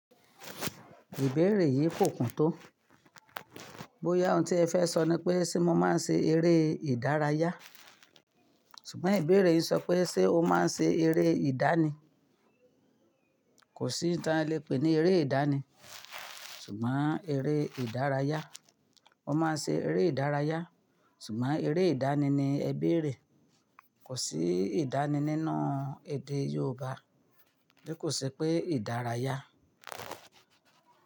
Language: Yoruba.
Ìbéèrè yìí kò kún tó. Bóyá ohun tí ẹ fẹ́ sọ ni pé ṣé mo máa ń ṣe eré ìdárayá. Ṣùgbọ́n ìbéèrè yìí ń sọ pé ṣé o máa ń ṣe eré ìdani. Kò sí oun táa le pè ní eré ìdáani. Ṣùgbọ́n eré ìdárayá. Mo máa ń ṣe eré ìdárayá. Ṣùgbọ́n eré ìdáani ni ẹ béèrè. Kò sí ìdáani nínú èdè Yorùbá. Ó kò sí pé ìdárayá.